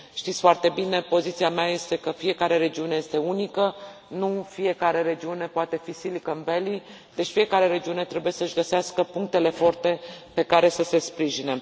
Știți foarte bine, poziția mea este că fiecare regiune este unică, nu în fiecare regiune poate fi Silicon Valley deci fiecare regiune trebuie să și găsească punctele forte pe care să se sprijine.